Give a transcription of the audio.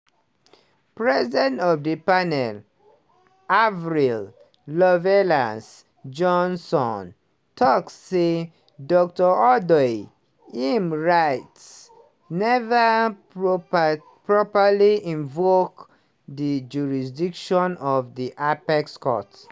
president of di panel avril lovelace-johnson tok say dr odoi im writ neva "proper properly invoke di jurisdiction of di apex court."